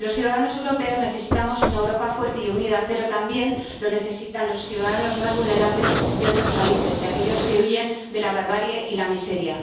Los ciudadanos europeos necesitamos una Europa fuerte y unida, pero también la necesitan los ciudadanos más vulnerables de otros países, aquellos que huyen de la barbarie y la miseria.